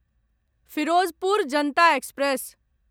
Firozpur Janata express